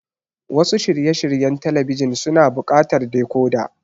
Wasu shirye shiryen talabijin suna buƙatar decoder.